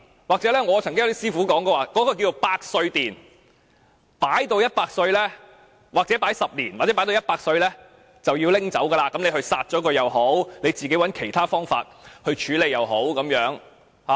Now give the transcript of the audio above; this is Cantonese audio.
我曾聽過一些師傅稱某地方為百歲殿，把骨灰擺放10年或放至死者100歲便要取走，骨灰無論撒掉或以其他方法處理也可。